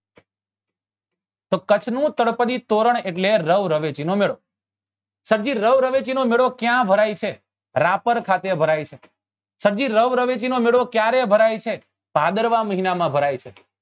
તો કચ્છ નું તળપદી તોરણ એટલે રવ રવેચી નો મેળો એટલે રવ રવેચી નો મેળો ક્યા ભરાય છે રાપર ખાતે ભરાય છે સબ જી રવ રવેચી નો મેળો ક્યારે ભરાય છે ભાદરવા મહિના માં ભરાય છે